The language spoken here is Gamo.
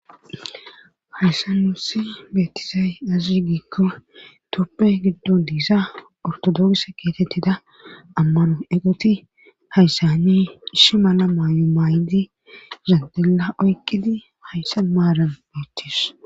hayssanusi beettizay azi giikko tophya giddun diisa ortodoks kiatettida ammano eqoti hayssani ishi mala maayo maay7di zandela oykkidi hayssa maaran beettis